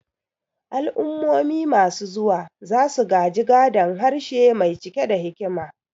Al'ummomi masu zuwa za su gaji gadon harshe mai cike da hikima.